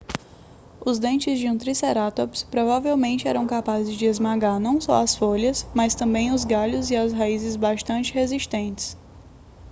os dentes de um tricerátops provavelmente eram capazes de esmagar não só as folhas mas também os galhos e as raízes bastante resistentes